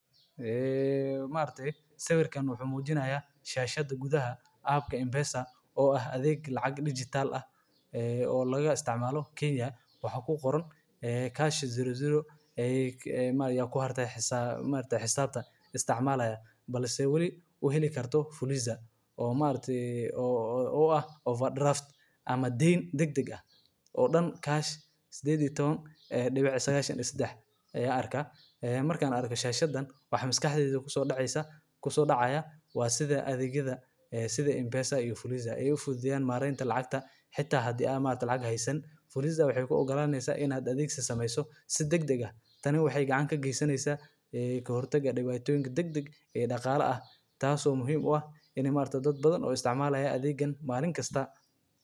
Waa adeeg lacag-bixin iyo xawaalad oo casri ah oo loo adeegsado telefoonada gacanta, kaas oo si weyn uga caawiya dadka inay si fudud oo ammaan ah lacag ugu diraan uguna helaan meel kasta oo ay joogaan, xitaa meelaha aan bangiyada iyo adeegyada maaliyadeed si wanaagsan u gaarsiineynin. Adeeggan waxaa markii ugu horreysay laga hirgeliyay Kenya, waxaana hadda laga isticmaalaa dalal badan oo Afrika iyo dunida kale ah, gaar ahaan oo ay tahay mid aad loogu baahan yahay.